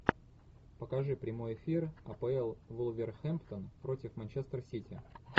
покажи прямой эфир апл вулверхэмптон против манчестер сити